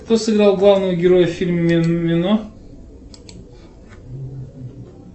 кто сыграл главного героя в фильме мимино